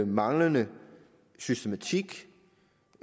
manglende systematik